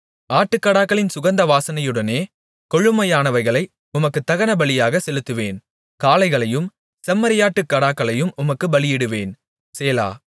ஆட்டுக்கடாக்களின் சுகந்தவாசனையுடனே கொழுமையானவைகளை உமக்குத் தகனபலியாக செலுத்துவேன் காளைகளையும் செம்மறியாட்டுக் கடாக்களையும் உமக்குப் பலியிடுவேன் சேலா